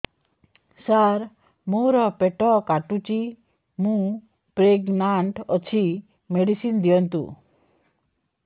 ସାର ମୋର ପେଟ କାଟୁଚି ମୁ ପ୍ରେଗନାଂଟ ଅଛି ମେଡିସିନ ଦିଅନ୍ତୁ